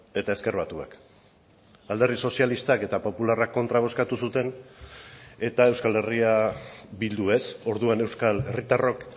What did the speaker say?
eta ezker batuak alderdi sozialistak eta popularrak kontra bozkatu zuten eta euskal herria bildu ez orduan euskal herritarrok